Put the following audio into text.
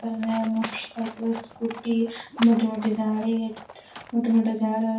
करन्या स motorcycle scooty मोठे मोठे झाड़ येत मोठे मोठे झाड़--